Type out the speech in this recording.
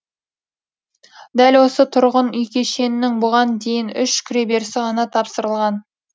дәл осы тұрғын үй кешенінің бұған дейін үш кіреберісі ғана тапсырылған